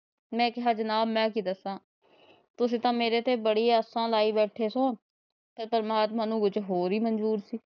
ਮੈ ਕਿਹਾ ਜਨਾਬ ਮੈ ਕੀ ਦੱਸਾਂ ਤੁਸੀ ਤਾ ਮੇਰੇ ਤੇ ਬੜੀ ਆਸਾ ਲਾਇ ਬੈਠੇ ਸਾ ਤੇ ਪ੍ਰਮਾਤਮਾ ਨੂੰ ਕੁੱਜ ਹੋਰ ਈ ਮੰਜੂਰ ਸੀ।